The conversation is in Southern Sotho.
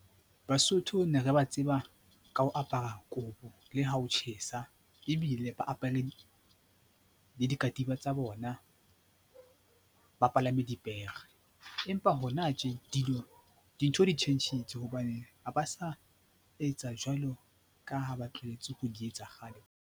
Basotho ne re ba tseba ka ho apara kobo le ha ho tjhesa ebile ba apare le dikatiba tsa bona ba palame dipere. Empa hona tje dilo dintho di tjhentjhitse hobane ha ba sa etsa jwalo ka ha ba tlwahetse ho di etsa kgale.